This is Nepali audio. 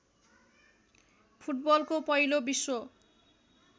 फुटबलको पहिलो विश्व